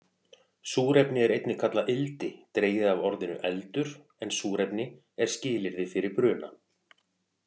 Súrefni er einnig kallað ildi, dregið af orðinu eldur, en súrefni er skilyrði fyrir bruna.